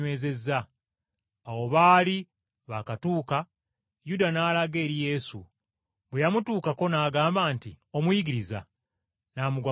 Awo baali baakatuuka Yuda n’alaga eri Yesu, bwe yamutuukako n’agamba nti, “Omuyigiriza!” N’amugwa mu kifuba.